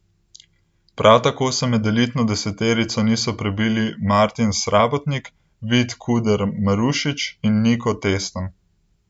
Prav tako se med elitno deseterico niso prebili Martin Srabotnik, Vid Kuder Marušič in Niko Testen.